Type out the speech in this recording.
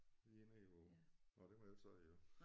Lige nede hvor nåh det må jeg ikke sige jo